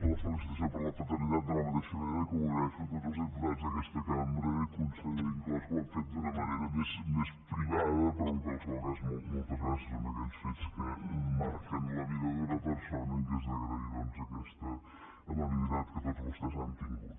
doncs la felicitació per la paternitat de la mateixa manera que ho agraeixo a tots els diputats d’aquesta cambra i conseller inclòs que ho han fet d’una manera més privada però en qualsevol cas moltes gràcies són aquells fets que marquen la vida d’una persona i és d’agrair doncs aquesta amabilitat que tots vostès han tingut